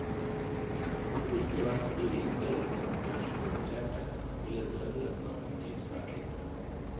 Hadde det ikke vært fordi vi innbiller oss at vi er så reduserte, ville en søvnløs natt bety svært lite.